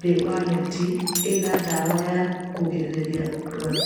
thĩ wa neti ĩna ndawa ya kũrigĩrĩria rwagĩ.